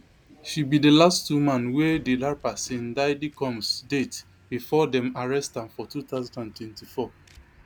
she be di last woman wey di rapper sin daidy combs date bifor dem arrest am for two thousand and twenty-four